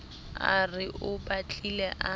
a re o batlile a